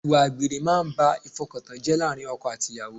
Ìwà àgbèrè máa ń ba ìfọkantán jẹ́ láàárín ọkọ àti ìyàwó